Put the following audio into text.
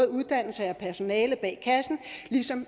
uddannelse af personalet bag kassen ligesom